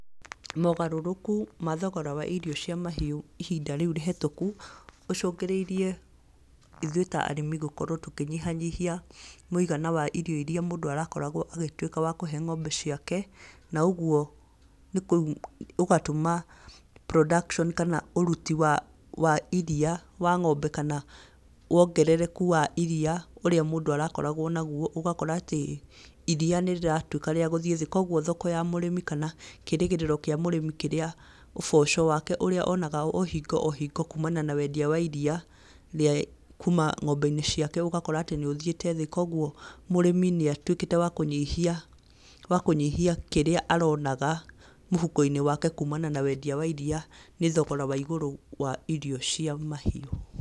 Mogarũrũku ma thogora wa irio cia mahiũ ihinda rĩu ihĩtũku rĩcũngĩrĩirie ithuĩ ta arĩmi gĩkorwo tũkĩnyihanyihia irio irĩa mũndũ arakoragwo agĩtuĩka wa kũhe ng'ombe ciake. Na ũguo ũgatũma production kana ũruti wa iria wa ng'ombe, kana wongerereku wa iria ũrĩa mũndũ arakoragwo naguo. Ũgakora atĩ iria nĩ rĩratuĩka rĩa gũthiĩ thĩ. Koguo thoko ya mũrĩmi kana kĩĩrĩgĩrĩro kĩa mũrĩmi, ũboco wake ũrĩa onaga o hingo o hingo kuumania na wendia wa iria kuuma ng'ombe-inĩ ciake ũgakorwo atĩ nĩ ũthiĩte thĩ. Koguo mũrĩmi nĩ atuĩkĩte wa kũnyihia kĩrĩa aronaga mũhuko-inĩ wake kuumania na wendia wa iria nĩ thogora wa igũrũ wa thogora wa irio cia mahiũ.